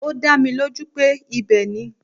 Ó dá mi lójú pé ibẹ̀ ni.